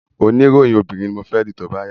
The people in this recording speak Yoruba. Oní ìròyìn obìnrin ni mo fẹ́ dì tóbá yá